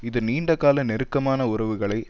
இது நீண்ட கால நெருக்கமான உறவுகளை